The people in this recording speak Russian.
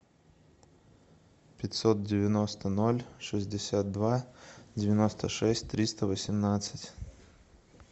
пятьсот девяносто ноль шестьдесят два девяносто шесть триста восемнадцать